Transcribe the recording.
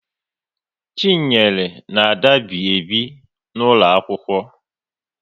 Chinyere na Ada bi ebi n'ụlọ akwụkwọ